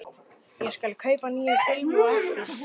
Ég skal kaupa nýja filmu á eftir.